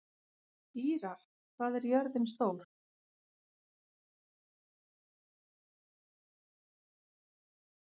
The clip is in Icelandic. Ýrar, hvað er jörðin stór?